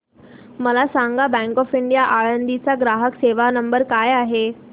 मला सांगा bank of India Alandi चा ग्राहक सेवा नंबर काय आहे